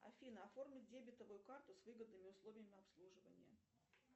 афина оформи дебетовую карту с выгодными условиями обслуживания